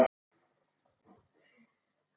Frægust þeirra er